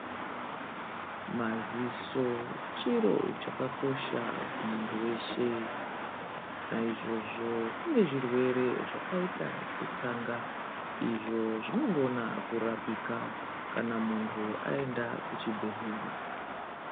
Maziso chiro chakakosha kumuntu weshe naizvozvo kune zvirwere zvakaita setsanga izvo zvinogona kurapika kana muntu enda kuchibhehlera.